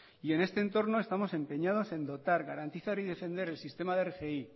y en este entorno estamos empeñados en dotar garantizar y defender el sistema de rgi